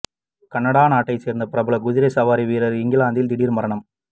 Canada நாட்டை சேர்ந்த பிரபல குதிரை சவாரி வீரர் இங்கிலாந்தில் திடீர் மரணம்